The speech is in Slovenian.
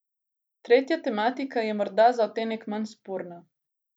Tretja tematika je morda za odtenek manj sporna.